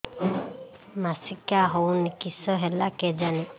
ମାସିକା ହଉନି କିଶ ହେଲା କେଜାଣି